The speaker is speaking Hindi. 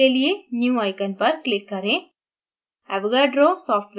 new window खोलने के लिए new icon पर click करें